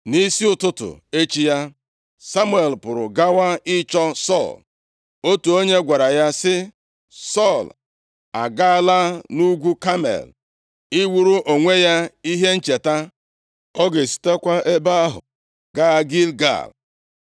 Nʼisi ụtụtụ echi ya, Samuel pụrụ gawa ịchọ Sọl. Otu onye gwara ya sị, “Sọl agaala nʼugwu Kamel iwuru onwe ya ihe ncheta. Ọ ga-esitekwa ebe ahụ gaa Gilgal.”